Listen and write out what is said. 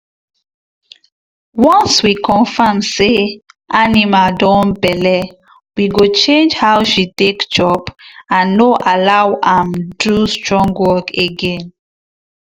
once we confirm say animal don belle we go change how she take chop and no allow am do strong work again.